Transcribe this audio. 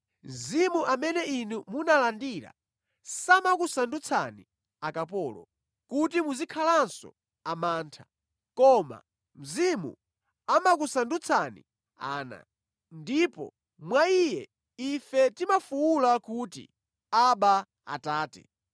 Mzimu amene inu munalandira samakusandutsani akapolo, kuti muzikhalanso amantha, koma Mzimu amakusandutsani ana. Ndipo mwa Iye ife timafuwula kuti, “Abba, Atate.”